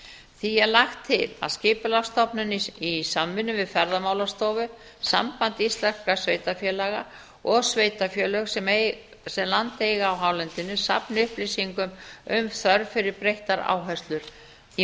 því er lagt til að skipulagsstofnun í samvinnu við ferðamálastofu samband íslenskra sveitarfélaga og sveitarfélög sem land eiga á hálendinu safni upplýsingum um þörf fyrir breyttar áherslur í